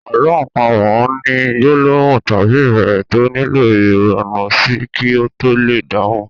Àlọ́ àpamọ̀ ni gbólóhùn tàbí ìbéèrè tó nílò ìronú sí kí a to lè dáhùn.